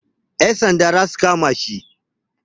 Yan sanda za su kama shi.